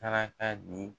Saraka di